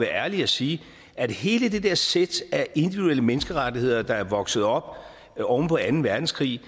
ærlig at sige at hele det der sæt af individuelle menneskerettigheder der er vokset op oven på anden verdenskrig